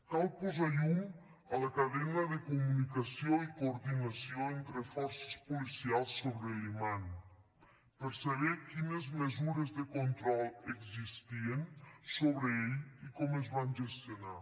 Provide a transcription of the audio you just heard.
cal posar llum a la cadena de comunicació i coordinació entre forces policials sobre l’imam per saber quines mesures de control existien sobre ell i com es van gestionar